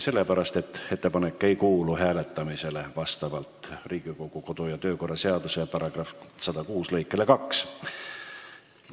See ettepanek vastavalt Riigikogu kodu- ja töökorra seaduse § 106 lõikele 2 hääletamisele ei kuulu.